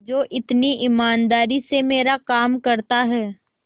जो इतनी ईमानदारी से मेरा काम करता है